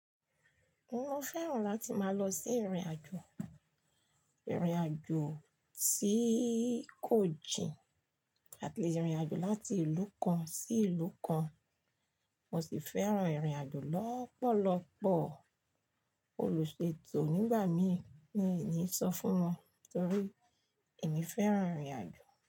Mo fẹ́ràn láti máa lọ sí ìrìnàjò, ìrìnàjò ti kojìn àti ìrìnàjò láti ìlú kan sí ìlú kan. Mo sì fẹ́ràn ìrìnàjò lọ́pọ̀lọ́pọ̀. Olùṣètò nígbà mí mini sọ fún wọn torí ẹ̀mí fẹ́ràn ìrìnàjò.